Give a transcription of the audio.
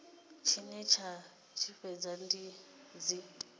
tshine dza tshi fhedza dzi